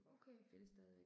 Okay